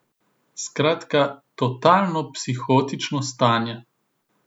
Skratka, totalno psihotično stanje!